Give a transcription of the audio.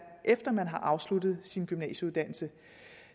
efter at man har afsluttet sin gymnasieuddannelse